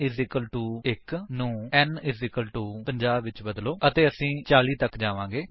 n 1 ਨੂੰ n 50 ਨਾਲ ਬਦਲੋ ਅਤੇ ਅਸੀ 40 ਤੱਕ ਜਾਵਾਂਗੇ